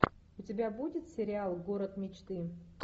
у тебя будет сериал город мечты